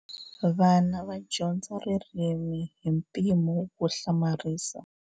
Vana va dyondza ririmi hi mpimo wo hlamarisa.